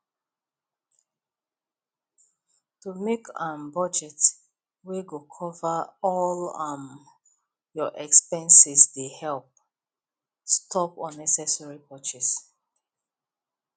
to make um budget wey go cover all um your expenses dey help stop unnecessary purchases